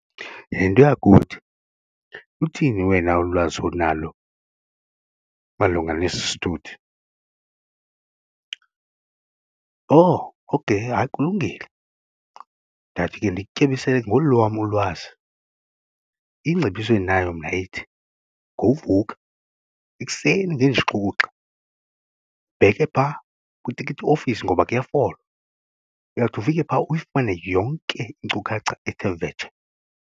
Yhe nto yakuthi luthini wena ulwazi onalo malunga nesi sithuthi? Oh okheyi, hayi kulungile ndawuthi ke ndikutyebisele ngolu lwam ulwazi. Ingcebiso endinayo mna ithi ngowuvuka ekuseni ngenja ixukuxa ubheke phaa kwitikiti ofisi ngoba kuyafolwa uyawuthi ufike phaa uyifumane yonke inkcukacha ethe vetshe.